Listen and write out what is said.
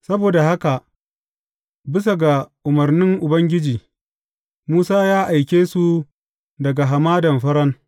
Saboda haka bisa ga umarnin Ubangiji, Musa ya aike su daga Hamadan Faran.